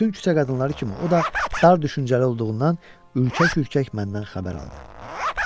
Bütün küçə qadınları kimi o da dar düşüncəli olduğundan ürkək-ürkək məndən xəbər aldı.